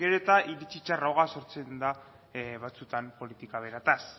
gero eta iritsi txarragoa sortzen da batzuetan politika berataz